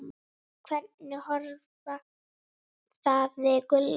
Hvernig horfði það við Gulla?